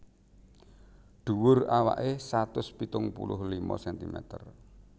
Dhuwur awaké satus pitung puluh lima sentimeter